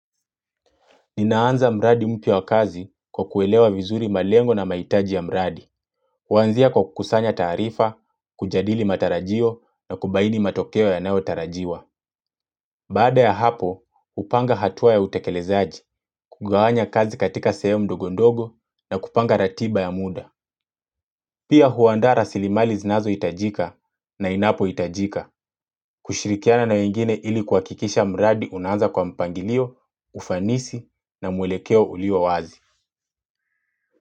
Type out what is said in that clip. Ninaanza mradi mpya wa kazi kwa kuelewa vizuri malengo na mahitaji ya mradi. Wanzia kwa kukusanya tarifa, kujadili matarajio na kubaini matokeo yanayotarajiwa. Baada ya hapo, hupanga hatua ya utekelezaji, kugawanya kazi katika sehemu ndogondogo na kupanga ratiba ya muda. Pia huanda rasilimali zinazohitajika na inapohitajika. Kushirikiana na wengine ili kuhakikisha mradi unaanza kwa mpangilio, ufanisi na mwelekeo ulio wazi.